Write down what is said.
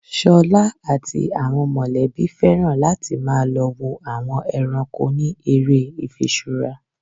Ṣolá àti àwọn mọ̀lẹ́bí féràn láti má lọ wo àwọn ẹranko ni ère ifiṣura.